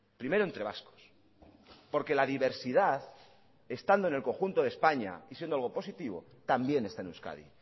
primero entre vascos porque la diversidad estando en el conjunto de españa y siendo algo positivo también está en euskadi